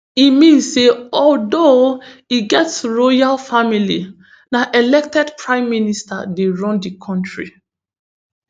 e mean say although e get royal family na elected prime minister dey run di country